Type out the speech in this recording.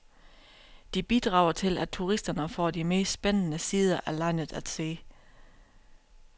De bidrager til at turisterne får de mest spændende sider af landet at se.